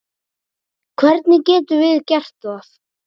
Hvernig getum við gert það?